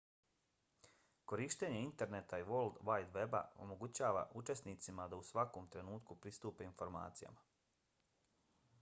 korištenje interneta i world wide weba omogućava učenicima da u svakom trenutku pristupe informacijama